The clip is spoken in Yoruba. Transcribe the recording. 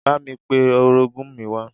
Bámi pe orogún mi wá